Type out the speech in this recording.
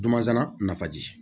Dunansana nafaji